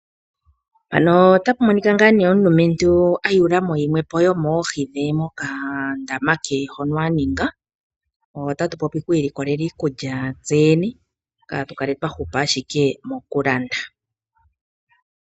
Mpano otapu monika ngaa nee omulumentu ayuulamo yimwe po yomoohi dhe mokandama ke hono aninga, otatu popi oku ilikolela iikulya tse yene kaatu kale twa hupa ashike mokulanda.